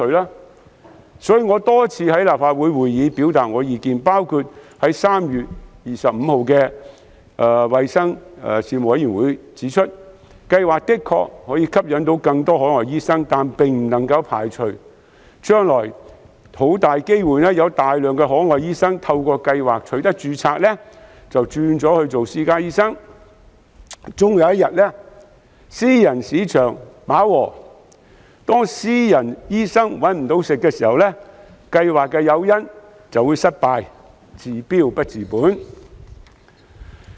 因此，我曾多次在立法會的會議上表達意見，包括在3月25日的衞生事務委員會會議上指出，計劃的確可以吸引更多海外醫生，但不能排除將來很大機會有大量海外醫生透過計劃註冊後，隨即轉做私家醫生；終有一日，當私人市場飽和，私家醫生"搵唔到食"，計劃的誘因便會失效，令計劃"治標不治本"。